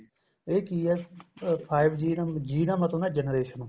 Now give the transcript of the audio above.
ਇਹ ਕੀ ਏ five G G ਦਾ ਮਤਲਬ ਹੁੰਦਾ generation